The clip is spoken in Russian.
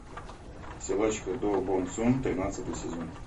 силачка до бон сун тринадцатый сезон